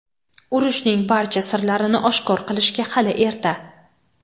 Urushning barcha sirlarini oshkor qilishga hali erta.